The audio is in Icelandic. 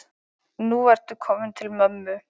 Nú ertu kominn til mömmu.